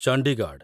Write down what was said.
Chandigarh